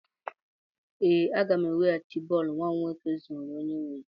Ee, aga m eweghachi bọọlụ nwa m nwoke zuru onye nwe ya.